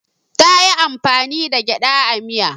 Ta yi amfani da gyaɗa a miyar.